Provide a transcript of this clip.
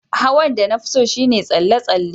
Hawan da na fi so shine tsalle-tsalle.